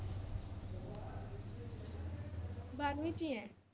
ਬਾਰਵੀਂ ਚ ਹੀ ਹੈ।